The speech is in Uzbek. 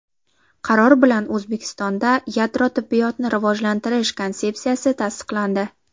Qaror bilan O‘zbekistonda yadro tibbiyotni rivojlantirish konsepsiyasi tasdiqlandi.